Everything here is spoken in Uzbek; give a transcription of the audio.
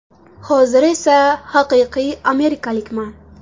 Hozir esa haqiqiy amerikalikman.